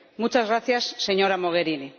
Muchas gracias, señora Mogherini.